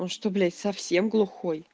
он что блять совсем глухой